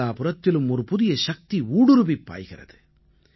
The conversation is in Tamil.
நாலாபுறத்திலும் ஒரு புதிய சக்தி ஊடுறுவிப் பாய்கிறது